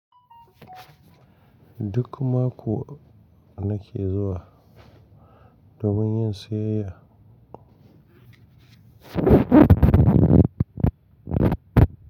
Duk mako nake zuwa domin yin siyayya.